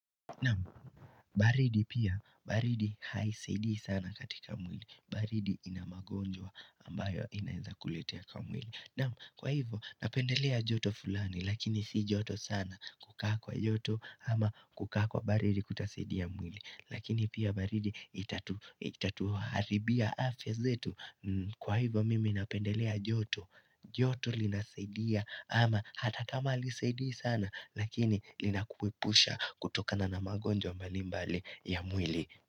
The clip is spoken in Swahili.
Naam, baridi pia, baridi haisaidii sana katika mwili baridi ina magonjwa ambayo inaeza kuletea kwa mwili Naam, kwa hivyo napendelea joto fulani lakini si joto sana kukaa kwa joto ama kukaa kwa baridi hakutasaidia mwili Lakini pia baridi itatu itatuharibia afya zetu Kwa hivyo mimi napendelea joto, joto linasaidia ama hata kama halisaidia sana Lakini linakuwepusha kutokana na magonjwa mbalimbali ya mwili.